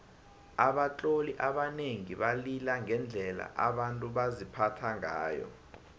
abatloli abanengi balila ngendlela abantu baziphatha ngayo